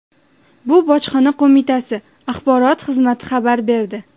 Bu Bojxona qo‘mitasi axborot xizmati xabar berdi.